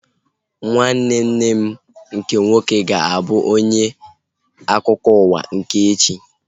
Nwanne nne m nke nwoke ga-abụ onye ga-enye akụkọ ụwa nke echi